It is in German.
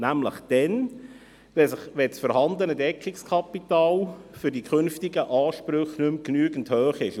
Dann nämlich, wenn das vorhandene Deckungskapital für die künftigen Ansprüche nicht mehr genügend hoch ist.